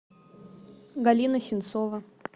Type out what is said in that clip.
галина сенцова